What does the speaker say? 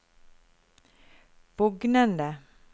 bugnende